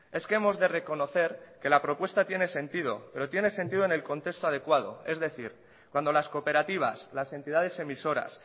es que hemos de reconocer que la propuesta tiene sentido pero tiene sentido en el contexto adecuado es decir cuando las cooperativas las entidades emisoras